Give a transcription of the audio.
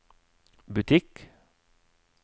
butikk